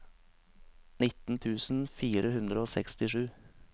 nitten tusen fire hundre og sekstisju